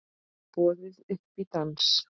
Boðið upp í dans